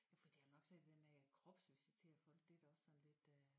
Fordi jeg har nok svært ved det dér med at kropsvisitere folk det da også sådan lidt øh